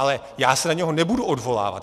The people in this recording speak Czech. Ale já se na něho nebudu odvolávat.